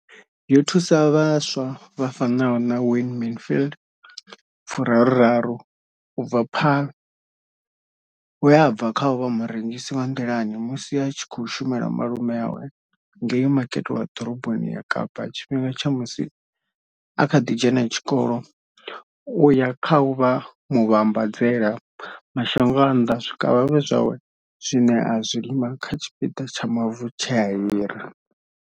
Yo thusa vhaswa vha fanaho na Wayne Mansfield, 33, u bva Paarl, we a bva kha u vha murengisi wa nḓilani musi a tshi khou shumela malume awe ngei Makete wa Ḓoroboni ya Kapa tshifhingani tsha musi a kha ḓi dzhena tshikolo u ya kha u vha muvhambadzela mashango a nnḓa zwikavhavhe zwawe zwine a zwi lima kha tshipiḓa tsha mavu tshe a hira.